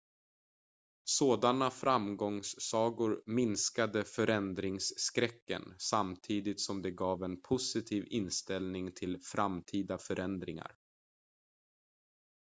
sådana framgångssagor minskade förändringsskräcken samtidigt som det gav en positiv inställning till framtida förändringar